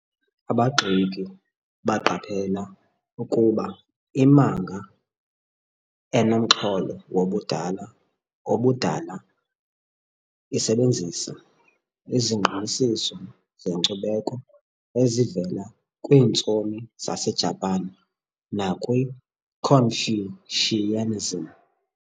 Abagxeki baqaphela ukuba imanga, enomxholo wobudala obudala, isebenzisa izingqinisiso zenkcubeko ezivela kwiintsomi zaseJapan nakwiConfucianism.